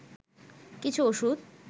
কিছু ওষুধ